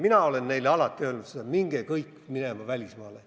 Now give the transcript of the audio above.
Mina olen neile alati öelnud, et minge kõik välismaale.